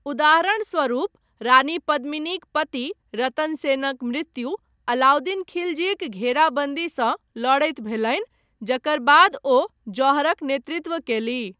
उदाहरणस्वरुप रानी पद्मिनीक पति रतन सेनक मृत्यु अलाउद्दीन खिलजीक घेराबन्दीसँ लड़ैत भेलनि जकर बाद ओ जौहरक नेतृत्व कयलीह।